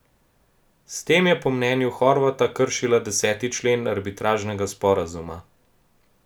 S tem je po mnenju Horvata kršila deseti člen arbitražnega sporazuma.